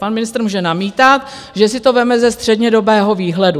Pan ministr může namítat, že si to vezme ze střednědobého výhledu.